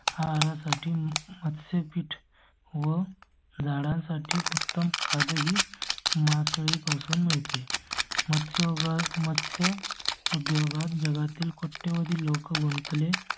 आहारा साठी मत्स्य पीठ व झाडां साठी उत्तम खत ही मासळी पासून मिळते. मत्स्योद्योगात मत्स्य उद्योग जगातील कोट्यवधी लोक गुंतले